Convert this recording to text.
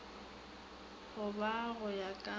bo ka go ya ka